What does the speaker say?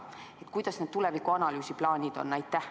Millised nende tulevikuanalüüside plaanid on?